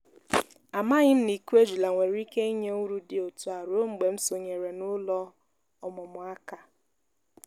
amaghị m na ịkụ ejula nwere ike inye uru dị otu a ruo mgbe m sonyeere n'ụlọ ọmụmụ aka.